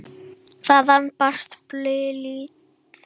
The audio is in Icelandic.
Þaðan barst baulið.